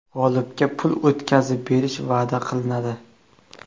G‘olibga pul o‘tkazib berish va’da qilinadi.